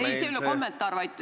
Ei, see ei ole kommentaar.